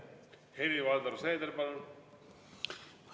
Helir-Valdor Seeder, palun!